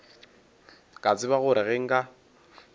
ka tseba gore ge nka